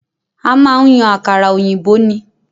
A máa ń yan àkàrà òyìnbó ní